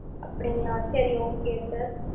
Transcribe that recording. அப்படிங்களா! சரி okay sir